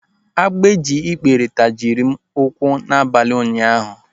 Agbikpere tajisiri m ụkwụ n'abalị ụnyaahụ.